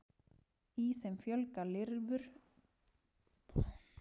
í þeim fjölga lirfur bandormsins sér með kynlausri æxlun og safna vökva